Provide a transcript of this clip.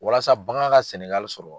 Walasa banga ka Sɛnɛgali sɔrɔ